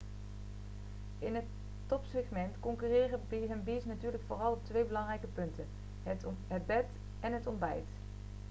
in het topsegment concurreren b&b's natuurlijk vooral op twee belangrijke punten: het bed en het ontbijt